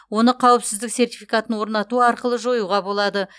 оны қауіпсіздік сертификатын орнату арқылы жоюға болады